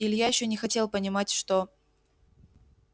илья ещё не хотел понимать что